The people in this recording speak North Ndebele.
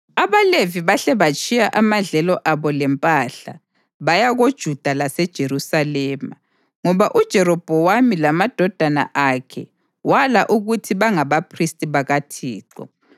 AbaLevi bahle batshiya amadlelo abo lempahla, baya koJuda laseJerusalema, ngoba uJerobhowamu lamadodana akhe wala ukuthi bangabaphristi bakaThixo.